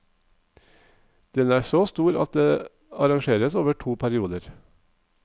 Den er så stor at den arrangeres over to perioder.